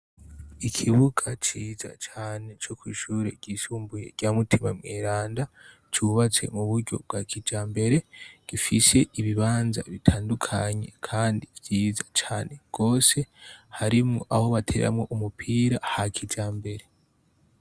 Ikibuga ciza cane co kw'ishure ryisumbuye rya Mutima Mweranda cubatswe mu buryo bwa kijambere, gifise ibibanza bitandukanye kandi vyiza cane gose harimwo aho batereramwo umupira ha kijambere.